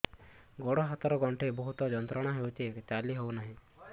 ଗୋଡ଼ ହାତ ର ଗଣ୍ଠି ବହୁତ ଯନ୍ତ୍ରଣା ହଉଛି ଚାଲି ହଉନାହିଁ